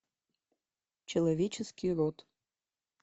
человеческий род